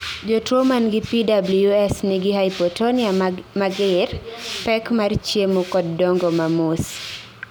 jotuo mangi PWS nigi hypotonia mager, pek mar chiemo kod dongo ma mos